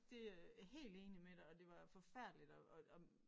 Det øh helt enig med dig og det var forfærdeligt og og om